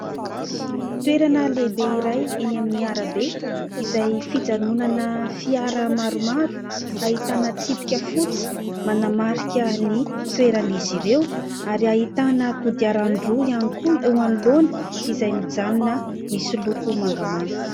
Toerana lehibe iray eny amin'ny arabe izay fijanonana fiara maromaro ahitana tsipika fotsy manamarika ny toeran'izy ireo ; ary ahitana kodiarandroa ihany koa eo anoloana izay mijanona misy loko mangamanga.